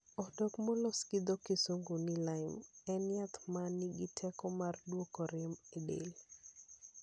Odok molos gi dho Kisungu ni lime, en yath ma nigi teko mar duoko rem e del.